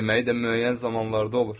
Yeməyi də müəyyən zamanlarda olur.